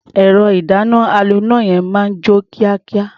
Ẹ̀rọ-ìdáná-aloná náà máa ń jó kíákíá.